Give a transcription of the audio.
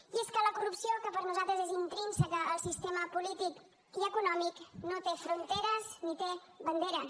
i és que la corrupció que per nosaltres és intrínseca al sistema polític i econòmic no té fronteres ni té banderes